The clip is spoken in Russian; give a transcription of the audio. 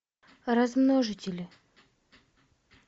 размножители